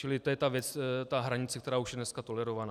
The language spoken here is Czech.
Čili to je ta hranice, která už je dneska tolerovaná.